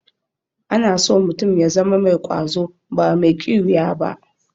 Ana so mutum ya zama mai ƙwazo ba mai ƙiwiya ba.